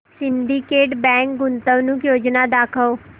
Syndicate Bank गुंतवणूक योजना दाखव